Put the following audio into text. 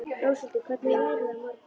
Róshildur, hvernig er veðrið á morgun?